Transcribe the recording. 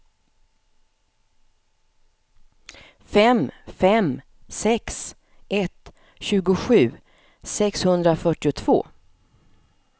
fem fem sex ett tjugosju sexhundrafyrtiotvå